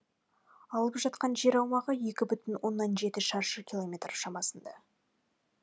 алып жатқан жер аумағы екі бүтін оннан жеті шаршы километр шамасында